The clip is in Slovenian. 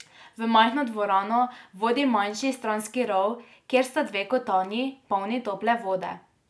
V majhno dvorano vodi manjši stranski rov, kjer sta dve kotanji, polni tople vode.